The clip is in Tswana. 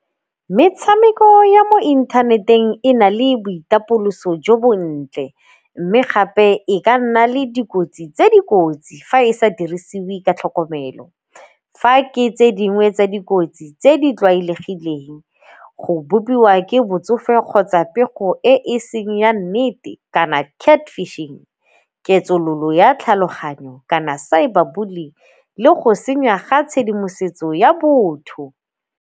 Metshameko ya mo inthaneteng e na le boitapoloso jo bontle, mme gape e ka nna le dikotsi tse dikotsi fa e sa dirisiwe ka tlhokomelo. Fa ke e tse dingwe tsa dikotsi tse di tlwaelegileng, go bopiwa ke botsofe kgotsa pego e e seng ya nnete kana cat fishing ya tlhaloganyo kana cyber bullying le go senya ga tshedimosetso ya botho.